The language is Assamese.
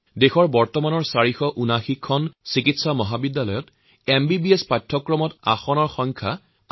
দেশত বৰ্তমান ৪৭৯খন মেডিকেল কলেজত প্ৰায় ৬৮ হাজাৰ MBBSৰ আসন সংখ্যা বৃদ্ধি কৰা হৈছে